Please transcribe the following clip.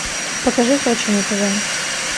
покажи сочи на тв